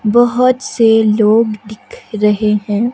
बहुत से लोग दिख रहे हैं।